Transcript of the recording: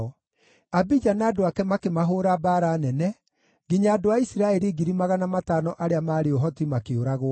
Abija na andũ ake makĩmahũũra mbaara nene, nginya andũ a Isiraeli 500,000 arĩa maarĩ ũhoti makĩũragwo.